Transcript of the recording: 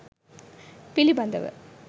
පිළිබඳව